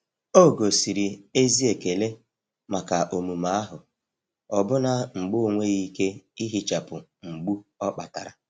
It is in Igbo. ogosiri ezi ekele maka omume ahụ, ọbụna mgbe ọ nweghị ike ihichapụ mgbu ọ kpatara.